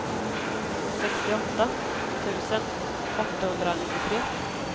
sextioåtta tusen åttahundranittiotre